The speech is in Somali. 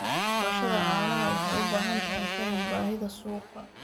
Dhaqashada caanaha waxay u baahan tahay faham baahida suuqa.